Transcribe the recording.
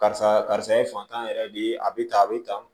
Karisa karisa ye fantan yɛrɛ de ye a bɛ tan a bɛ tan